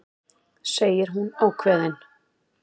segir hún ákveðin.